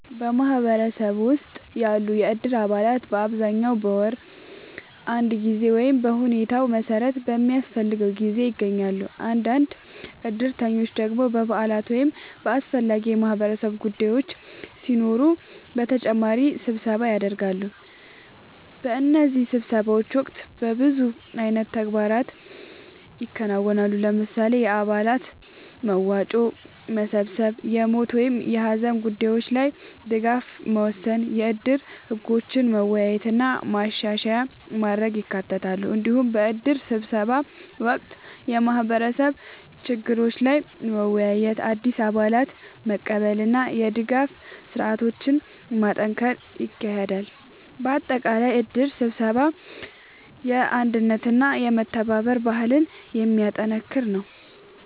በማህበረሰብ ውስጥ ያሉ የእድር አባላት በአብዛኛው በወር አንድ ጊዜ ወይም በሁኔታው መሠረት በሚያስፈልገው ጊዜ ይገናኛሉ። አንዳንድ እድሮች ደግሞ በበዓላት ወይም በአስፈላጊ የማህበረሰብ ጉዳዮች ሲኖሩ በተጨማሪ ስብሰባ ያደርጋሉ። በእነዚህ ስብሰባዎች ወቅት በብዙ አይነት ተግባራት ይከናወናሉ። ለምሳሌ፣ የአባላት መዋጮ መሰብሰብ፣ የሞት ወይም የሀዘን ጉዳዮች ላይ ድጋፍ መወሰን፣ የእድር ህጎችን መወያየት እና ማሻሻያ ማድረግ ይካተታሉ። እንዲሁም በእድር ስብሰባ ወቅት የማህበረሰብ ችግሮች ላይ መወያየት፣ አዲስ አባላትን መቀበል እና የድጋፍ ስርዓቶችን ማጠናከር ይካሄዳል። በአጠቃላይ እድር ስብሰባ የአንድነትና የመተባበር ባህልን የሚያጠናክር ነው።